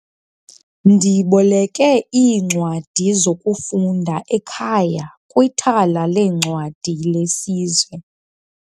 Ndiboleke iincwadi zokufunda ekhaya kwithala leencwadi lesizwe.